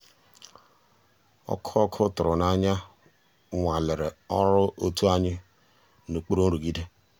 ọ́kụ́ ọ́kụ́ tụ̀rụ̀ n'ànyá nwàlérè ọ́rụ́ ótú ànyị́ n'òkpùrú nrụ̀gídé.